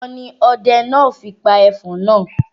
Ìbọn ni ọdẹ náà fi pa ẹfọ̀n náà.